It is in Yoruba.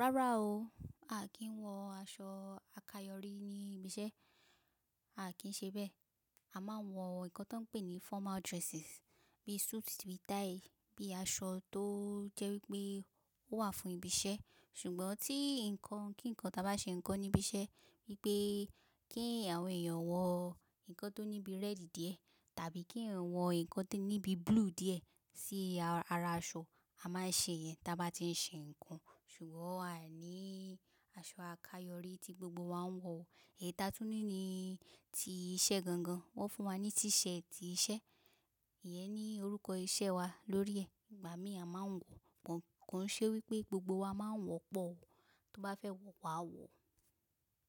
Rárá o, a kì n wọ aṣọ àkayòrí ní ibi iṣẹ́, a kì n ṣe bẹ́ẹ̀. A máa ń wọ nnkan tí wọ́n ń pè ní formal dresses bí i suit bí i tie, bí i aṣọ tó jẹ́ wípé ó wà fún ibi iṣẹ́. Ṣùgbọ́n tí nǹkan kí ǹkan ta bá ṣe nǹkan níbi iṣẹ́ wípé kí àwọn èèyàn wọ nnkan tó níbi rẹ́ẹ̀dì díẹ̀ tàbí kí eeyan wọ nnkan tó níbi búlúù díẹ̀ sí ara aṣọ, a máa ṣe iyẹn tí a bá tí ń ṣe nǹkan. Ṣùgbọ́n aa ní aṣọ àkayòrí tí gbogbo wa ń wọ. Ẹ̀yi taa tún ní ti iṣẹ́ gan gan, wọ́n fún wa ní t-shirt iṣẹ́, ìyẹn ní orúkọ iṣẹ́ wa lórí ẹ̀, ìgbà mìí a máa ń wọ, kò n ṣe wípé gbogbo wa máa ń wọ pọ̀ o, tó bá fẹ́ wọ, wàá wọ̀.